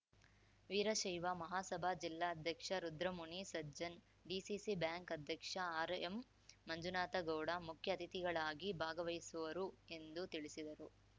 ವೀರಶೈವ ಮಹಾಸಭಾ ಜಿಲ್ಲಾಧ್ಯಕ್ಷ Rudramuni Sajjan DCC bank ಅಧ್ಯಕ್ಷ ಆರ್‌ಎಂಮಂಜುನಾಥ ಗೌಡ ಮುಖ್ಯ ಅತಿಥಿಗಳಾಗಿ ಭಾಗವಹಿಸುವರು ಎಂದು ತಿಳಿಸಿದರು